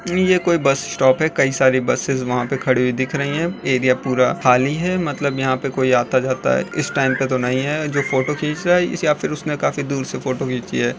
ये कोई bus stop है कई सारी बसिस वहां पे खड़ी हुई दिख रही है। एरिया पूरा खाली है मतलब यहाँ पे कोई आता जाता इस टाइम पे तो नहीं है जो फोटो खींच रहा है या फिर उसने काफी दूर से फोटो खींची है।